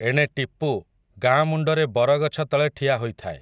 ଏଣେ ଟିପୁ, ଗାଁ ମୁଣ୍ଡରେ ବରଗଛ ତଳେ ଠିଆ ହୋଇଥାଏ ।